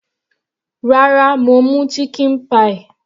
Rárá, mo mú chicken pie.